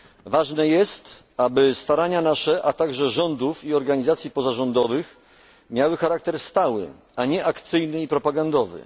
Ważne jest, aby starania nasze, a także rządów i organizacji pozarządowych miały charakter stały, a nie akcyjny i propagandowy.